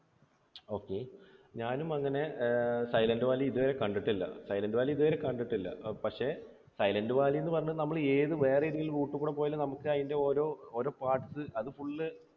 okay. ഞാനും അങ്ങനെ Silent Valley ഇതുവരെ കണ്ടിട്ടില്ല. സൈലൻറ് വാലി ഇതുവരെ കണ്ടിട്ടില്ല. പക്ഷേ സൈലൻറ് വാലി എന്നു പറഞ്ഞ് നമ്മൾ ഏത് വേറെ ഏത് route ൽ കൂടി പോയാലും നമുക്ക് അതിൻറെ ഓരോ ഓരോ parts അത് full